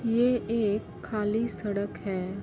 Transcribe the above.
ये एक खाली सड़क है।